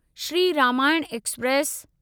Shri Ramayan express